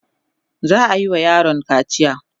za'ayi wa yaron kaciya